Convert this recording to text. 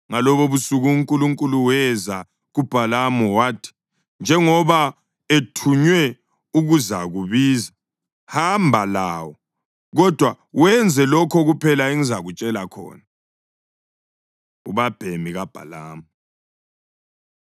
Ngalobobusuku uNkulunkulu weza kuBhalamu wathi, “Njengoba ethunywe ukuzakubiza, hamba lawo, kodwa wenze lokho kuphela engizakutshela khona.” Ubabhemi KaBhalamu